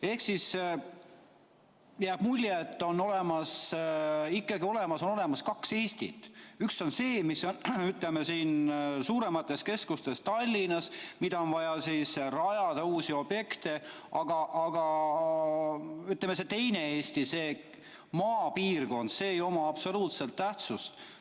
Ehk jääb mulje, et on ikkagi olemas kaks Eestit: üks on see, mis on, ütleme, suuremates keskustes, nagu Tallinnas, kuhu on vaja rajada uusi objekte, aga see teine Eesti, see maapiirkond, ei oma absoluutselt tähtsust.